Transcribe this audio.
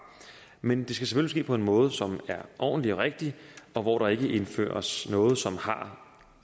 men det skal selvfølgelig ske på en måde som er ordentlig og rigtig og hvor der ikke indføres noget som har